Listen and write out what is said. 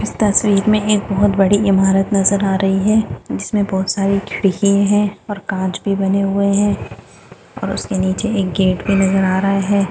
इस तस्वीर में एक बहुत बड़ी इमारत नजर आ रही है है जिसमे बहुत सारी खिड़कि है और काँच भी बने हुए है और उसके नीचे एक गेट भी नजर आ रहा है।